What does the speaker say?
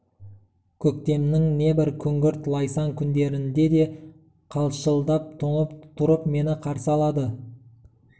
көктемнің небір күңгірт лайсаң күндерінде де қалшылдап тоңып тұрып мені қарсы алды